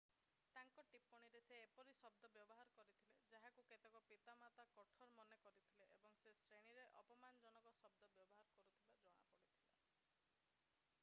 ତାଙ୍କ ଟିପ୍ପଣୀରେ ସେ ଏପରି ଶବ୍ଦ ବ୍ୟବହାର କରିଥିଲେ ଯାହାକୁ କେତେକ ପିତାମାତା କଠୋର ମନେ କରିଥିଲେ ଏବଂ ସେ ଶ୍ରେଣୀରେ ଅପମାନଜନକ ଶବ୍ଦ ବ୍ୟବହାର କରୁଥିବା ଜଣାପଡ଼ିଥିଲା